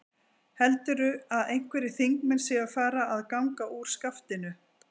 Heldurðu að einhverjir þingmenn séu að fara að ganga úr skaftinu?